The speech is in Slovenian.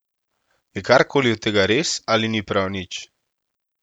Je kar koli od tega res ali ni prav nič?